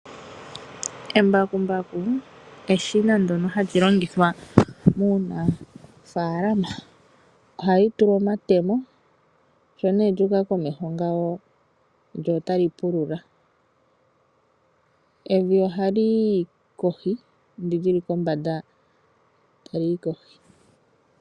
Embakumbaku eshina ndyoka hali longithwa muunafaalama. Ohali tulwa omatemo , sho nee lyu uka komeho ngawo lyo otali pulula. Evi ohali yi kohi ano ndi lili kombanda otali yi kohi.